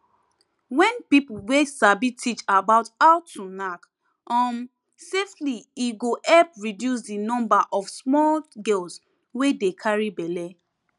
wen people wey sabi teach about how to knack um safely e go help reduce di number of small girls wey dey carry belle